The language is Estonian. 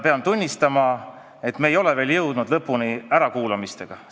Pean tunnistama, et me ei ole veel jõudnud ärakuulamistega lõpule.